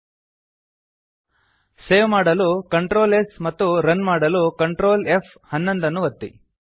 println in parenthesis result save ಮಾಡಲು Ctrl s ಮತ್ತು run ಮಾಡಲು Ctrl F11ನ್ನು ಒತ್ತಿ